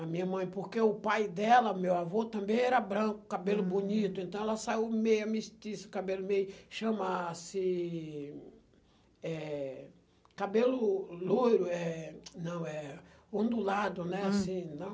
A minha mãe, porque o pai dela, meu avô, também era branco, cabelo bonito, então ela saiu meio amnistia, cabelo meio, chama-se, eh,... Cabelo loiro, eh, não, eh, ondulado, né, assim, não